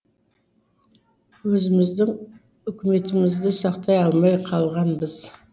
өзіміздің үкіметімізді сақтай алмай қалғанбыз